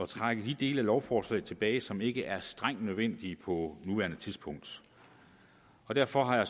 trække de dele af lovforslaget tilbage som ikke er strengt nødvendige på nuværende tidspunkt derfor har